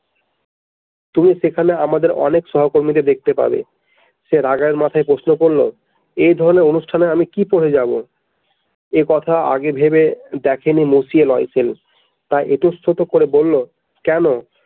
তুমি সেখানে আমাদের অনেক সহকর্মীদের দেখতে পাবে সে রাগের মাথায় প্রশ্ন করলো এই ধরনের অনুষ্ঠানে আমি কি পরে যাবো একথা আগে ভেবে দেখেনি নয় সে তাই এতস্থত করে বলল কেন।